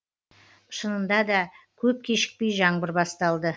шынында да көп кешікпей жаңбыр басталды